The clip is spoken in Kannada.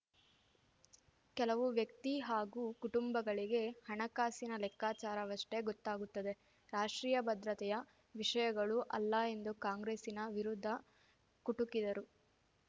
ಕೆಲವು ವ್ಯಕ್ತಿ ಹಾಗೂ ಕುಟುಂಬಗಳಿಗೆ ಹಣಕಾಸಿನ ಲೆಕ್ಕಾಚಾರವಷ್ಟೇ ಗೊತ್ತಾಗುತ್ತದೆ ರಾಷ್ಟ್ರೀಯ ಭದ್ರತೆಯ ವಿಷಯಗಳು ಅಲ್ಲ ಎಂದು ಕಾಂಗ್ರೆಸ್ಸಿನ ವಿರುದ್ಧ ಕುಟುಕಿದರು